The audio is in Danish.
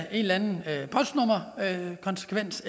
eller en konsekvens